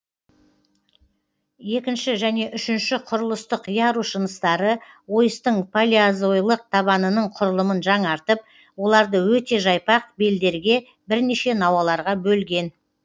екінші және үшінші құрылыстық ярус жыныстары ойыстың палеозойлық табанының құрылымын жаңартып оларды өте жайпақ белдерге бірнеше науаларға бөлген